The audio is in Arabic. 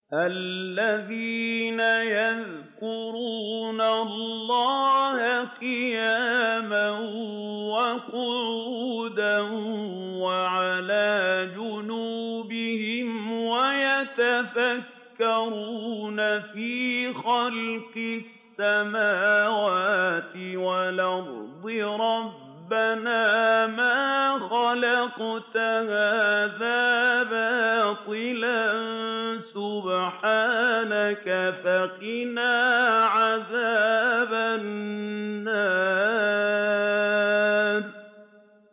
الَّذِينَ يَذْكُرُونَ اللَّهَ قِيَامًا وَقُعُودًا وَعَلَىٰ جُنُوبِهِمْ وَيَتَفَكَّرُونَ فِي خَلْقِ السَّمَاوَاتِ وَالْأَرْضِ رَبَّنَا مَا خَلَقْتَ هَٰذَا بَاطِلًا سُبْحَانَكَ فَقِنَا عَذَابَ النَّارِ